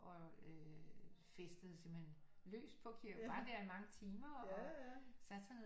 Og øh festede simpelthen løs på var der i mange timer og satte sig ned